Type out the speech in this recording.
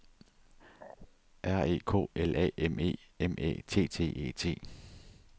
R E K L A M E M Æ T T E T